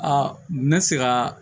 Aa ne bɛ se ka